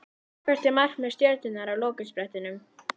Hvert er markmið Stjörnunnar á lokasprettinum?